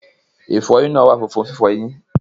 Ìfọyín náà wà fún fífọ eyín.